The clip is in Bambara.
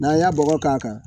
N'an y'a bɔgɔ k'a kan